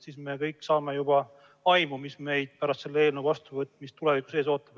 Siis me kõik saaksime juba aimu, mis meid pärast selle eelnõu seadusena vastuvõtmist tulevikus ees ootab.